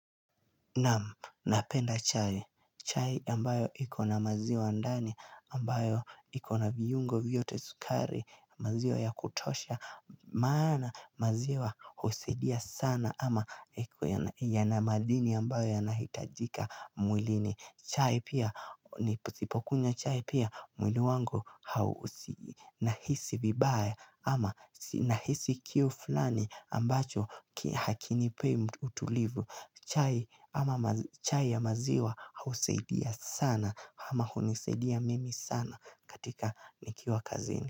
Napenda chai, chai ambayo ikona maziwa andani, ambayo ikona viyungo viyote sukari, maziwa ya kutosha, maana maziwa husaidia sana ama yanamadini ambayo yanahitajika mwilini chai pia nipusipokunywa chai pia mwili wangu hausinahisi vibaya ama sinahisi kiu fulani ambacho hakinipei utulivu chai ama chai ya maziwa hausaidia sana ama hunisaidia mimi sana katika nikiwa kazini.